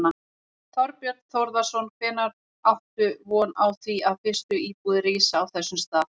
Þorbjörn Þórðarson: Hvenær áttu von á því að fyrstu íbúðir rísi á þessum stað?